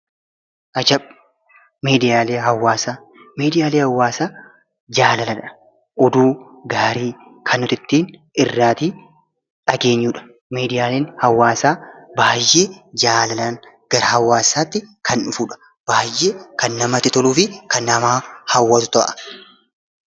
Ajab! Miidiyaalee hawaasaa jaalladha. Oduu gaarii kan nuti irraatii dhageenyudha. Miidiyaaleen hawaasaa baayyee jalalaan gara hawaasaa kan dhufudha. Baayyee kan namatti toluu fi kan nama hawwatudha.